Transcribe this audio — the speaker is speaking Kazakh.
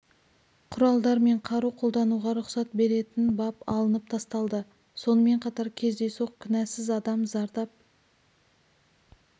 құралдар мен қару қолдануға рұқсат беретін бап алынып тасталды сонымен қатар кездейсоқ кінәсіз адам зардап